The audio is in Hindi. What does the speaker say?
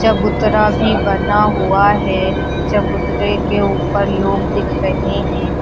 चबूतरा भी बना हुआ है चबूतरे के ऊपर लोग दिख रहे हैं।